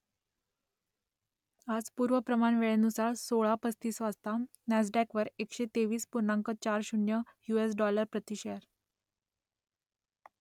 आज पूर्व प्रमाण वेळेनुसार सोळा पस्तीस वाजता नॅसडॅकवर एकशे तेवीस पूर्णांक चार शून्य यु एस डॉलर प्रति शेअर